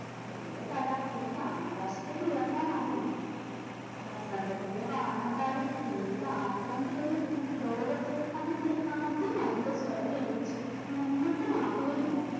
എൻറെ തല എനിക്ക് ആകാശത്തെക്ക് ഉയർത്താൻ ആവില്ല വസന്തത്തിലെ വാനമ്പാടി എന്നിൽ ആശ്രയം തേടിയിരുന്ന് ലോകത്തെ അതിൻറെ അധി മധുര സ്വരം കേൾപ്പിച്ച് ഉന്മത്തം ആക്കുകയില്ല.